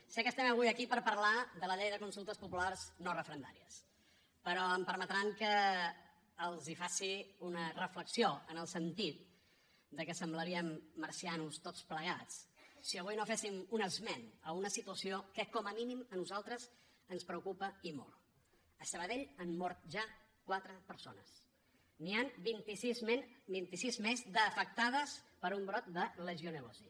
sé que estem avui aquí per parlar de la llei de consultes populars no referendàries però em permetran que els faci una reflexió en el sentit que semblaríem marcians tots plegats si avui no féssim un esment d’una situació que com a mínim a nosaltres ens preocupa i molt a sabadell han mort ja quatre persones n’hi han vintisis més d’afectades per un brot de legionel·losi